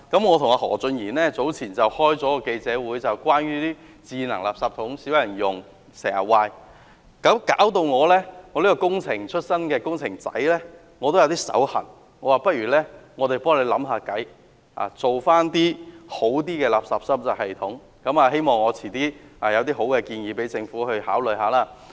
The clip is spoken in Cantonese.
我與何俊賢議員早前召開了一個記者會，就較少人使用的智能垃圾桶經常出現故障的問題，以致我這個工程出身的"工程仔"也有一點"手癢"，不如我們替局長想辦法，看看如何改善垃圾收集系統，希望稍後我會有一些好建議供政府考慮。